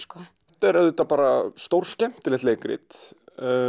þetta er auðvitað bara stórskemmtilegt leikrit